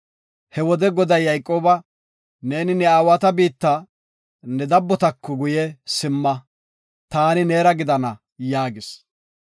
He wode Goday Yayqooba, “Neeni ne aawata biitta, ne dabbotako guye simma. Taani neera gidana” yaagis.